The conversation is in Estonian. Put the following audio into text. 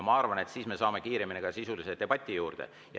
Ma arvan, et siis me jõuame kiiremini sisulise debati juurde.